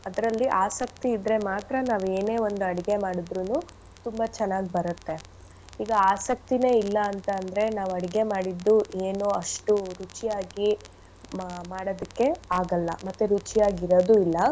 ಅದ್ರಲ್ಲಿ ಆಸಕ್ತಿ ಇದ್ರೆ ಮಾತ್ರ ನಾವ್ ಏನೇ ಒಂದ್ ಅಡುಗೆ ಮಾಡಿದ್ರುನು ತುಂಬಾ ಚೆನ್ನಾಗ್ ಬರತ್ತೆ. ಈಗ ಆಸಕ್ತಿನೆ ಇಲ್ಲ ಅಂತ ಅಂದ್ರೆ ನಾವ್ ಅಡ್ಗೆ ಮಾಡಿದ್ದು ಏನು ಅಷ್ಟು ರುಚಿಯಾಗಿ ಮ~ ಮಾಡದಕ್ಕೆ ಆಗಲ್ಲ. ಮತ್ತೆ ರುಚಿಯಾಗಿ ಇರದು ಇಲ್ಲ.